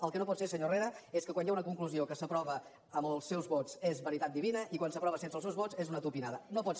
el que no pot ser senyor herrera és que quan hi ha una conclusió que s’aprova amb els seus vots és veritat divina i quan s’aprova sense els seus vots és una tupinada no pot ser